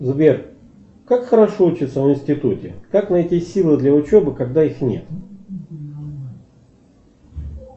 сбер как хорошо учиться в институте как найти силы для учебы когда их нет